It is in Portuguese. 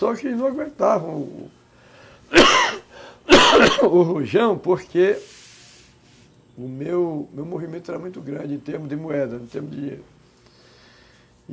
Só que eles não aguentavam o o o rojão porque o meu, o meu movimento era muito grande em termos de moeda, em termos de